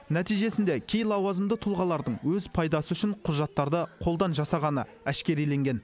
нәтижесінде кей лауазымды тұлғалардың өз пайдасы үшін құжаттарды қолдан жасағаны әшкереленген